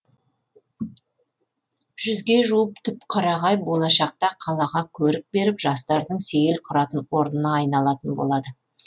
жүзге жуық түп қарағай болашақта қалаға көрік беріп жастардың сейіл құратын орнына айналатын болады